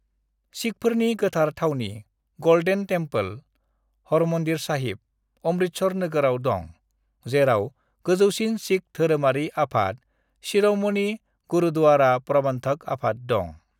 "सिखफोरनि गोथार थावनि, golden temple (Harmandir Sahib), Amritsar नोगोराव दं, जेराव गोजौसिन सिख धोरोमारि आफाद शिर'मणि गुरुद्वारा प्रबन्धक आफाद दं।"